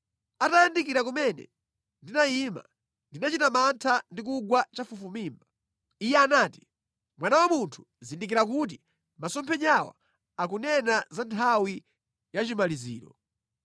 Atayandikira kumene ndinayima, ndinachita mantha ndi kugwa chafufumimba. Iye anati, “Mwana wa munthu, zindikira kuti masomphenyawa akunena za nthawi yachimaliziro.”